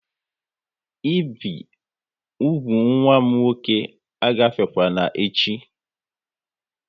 Ị bi úgwù nwa m nwoke a gafekwana echi!